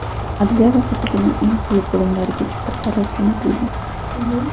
Adliya vazirligining eng quyi bo‘limlarigacha bu qaror jo‘natilgan.